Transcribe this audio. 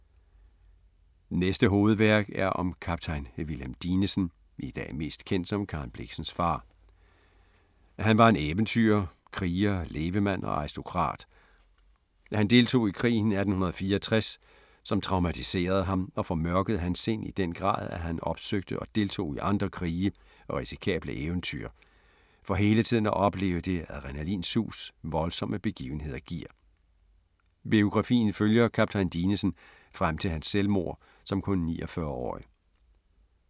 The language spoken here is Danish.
Næste hovedværk er om Kaptajn Wilhelm Dinesen, i dag mest kendt som Karen Blixens far. Han var en eventyrer, kriger, levemand og aristokrat. Han deltog i krigen 1864, som traumatiserede ham og formørkede hans sind i den grad, at han opsøgte og deltog i andre krige og risikable eventyr for hele tiden at opleve det adrenalinsus voldsomme begivenheder giver. Biografien følger Kaptajn Dinesen frem til hans selvmord som kun 49-årig.